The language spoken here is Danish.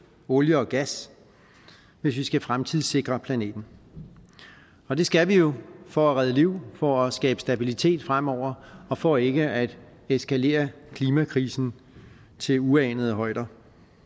olie og gas hvis vi skal fremtidssikre planeten og det skal vi jo for at redde liv for at skabe stabilitet fremover og for ikke at eskalere klimakrisen til uanede højder